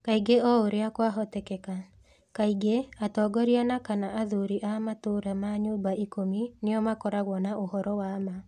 Kaingĩ o ũrĩa kwahoteka. Kaingĩ, atongoria na / athuri a matũũra ma Nyũmba Ikũmi nĩo makoragwo na ũhoro wa ma.